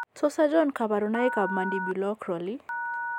Tos achon kabarunaik ab Mandibuloacral ?